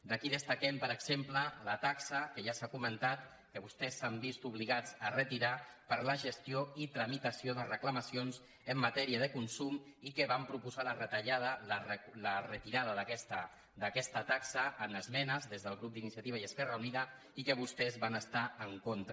d’aquí destaquem per exemple la taxa que ja s’ha comentat que vostès s’han vist obligats a retirar per a la gestió i tramitació de reclamacions en matèria de consum i que vam proposar la retirada d’aquesta taxa en esmenes des del grup d’iniciativa i esquerra unida i que vostès van estar hi en contra